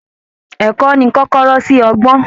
Ẹ̀kọ́ ni kọ́kọ́rọ́ sí ọgbọ́n